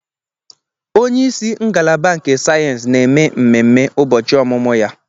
Onye isi ngalaba nke sayensị na-eme mmemme ụbọchị ọmụmụ ya.